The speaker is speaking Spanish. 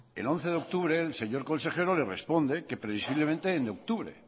el once de octubre el señor consejero le responde que previsiblemente en octubre